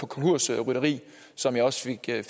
konkursrytteri som jeg også